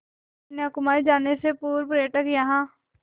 कन्याकुमारी जाने से पूर्व पर्यटक यहाँ